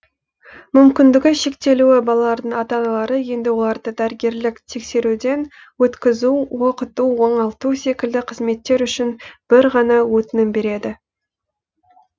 мүмкіндігі шектеулі балалардың ата аналары енді оларды дәрігерлік тексеруден өткізу оқыту оңалту секілді қызметтер үшін бір ғана өтінім береді